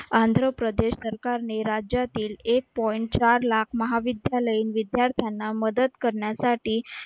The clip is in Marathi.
आंध्रप्रदेश सरकारने राज्यातील एक point चार लाख महाविद्यालयीन विद्यार्थ्यांना मदत करण्यासाठी